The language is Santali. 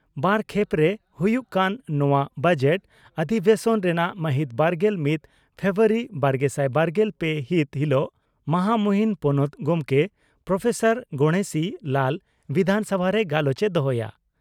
ᱵᱟᱨ ᱠᱷᱮᱯᱨᱮ ᱦᱩᱭᱩᱜ ᱠᱟᱱ ᱱᱚᱣᱟ ᱵᱚᱡᱮᱴ ᱚᱫᱫᱤᱵᱮᱥᱚᱱ ᱨᱮᱱᱟᱜ ᱢᱟᱦᱤᱛ ᱵᱟᱨᱜᱮᱞ ᱢᱤᱛ ᱯᱷᱮᱵᱨᱩᱣᱟᱨᱤ ᱵᱟᱨᱜᱮᱥᱟᱭ ᱵᱟᱨᱜᱮᱞ ᱯᱮ ᱦᱤᱛ ᱦᱤᱞᱚᱜ ᱢᱟᱦᱟᱢᱩᱦᱤᱱ ᱯᱚᱱᱚᱛ ᱜᱚᱢᱠᱮ ᱯᱨᱹ ᱜᱚᱬᱮᱥᱤ ᱞᱟᱞ ᱵᱤᱫᱷᱟᱱᱥᱚᱵᱷᱟᱨᱮ ᱜᱟᱞᱚᱪ ᱮ ᱫᱚᱦᱚᱭᱟ ᱾